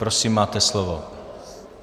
Prosím, máte slovo.